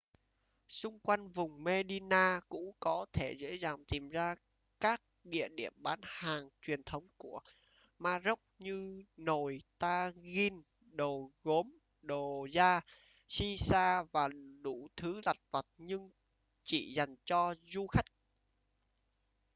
xung quanh vùng medina cũ có thể dễ dàng tìm ra các địa điểm bán hàng truyền thống của ma rốc như nồi tagine đồ gốm đồ da shisha và đủ thứ lặt vặt nhưng chỉ dành cho du khách